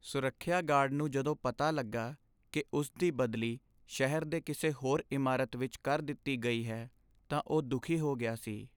ਸੁਰੱਖਿਆ ਗਾਰਡ ਨੂੰ ਜਦੋਂ ਪਤਾ ਲੱਗਾ ਕਿ ਉਸ ਦੀ ਬਦਲੀ ਸ਼ਹਿਰ ਦੀ ਕਿਸੇ ਹੋਰ ਇਮਾਰਤ ਵਿੱਚ ਕਰ ਦਿੱਤੀ ਗਈ ਹੈ ਤਾਂ ਉਹ ਦੁਖੀ ਹੋ ਗਿਆ ਸੀ।